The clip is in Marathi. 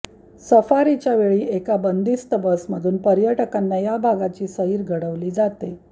सफारीच्या वेळी एका बंदिस्त बसमधून पर्यटकांना या भागाची सैर घडवली जाते